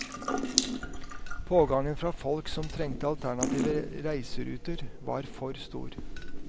Pågangen fra folk som trengte alternative reiseruter var for stor.